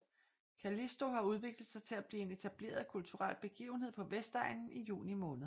Callisto har udviklet sig til at blive en etableret kulturel begivenhed på Vestegnen i juni måned